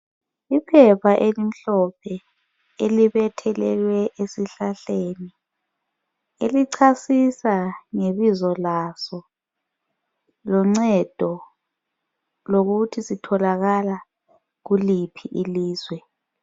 Iphepha elimhlophe elibethelweyo esihlahleni elichasisa ngebizo laso loncedo lokuthi sitholakala kuliphi ilizwe.